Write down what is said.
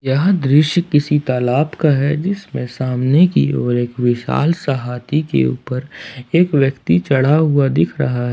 यह दृश्य किसी तालाब का है जिसमें सामने की ओर एक विशाल सा हाथी के ऊपर एक व्यक्ति चढ़ा हुआ दिख रहा है।